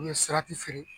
U bɛ sirati feere